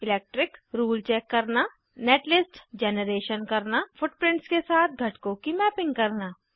electric rule check करना netlist generation करना footprints के साथ घटकों की मैपिंग करना